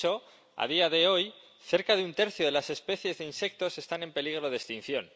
De hecho, a día de hoy, cerca de un tercio de las especies de insectos están en peligro de extinción.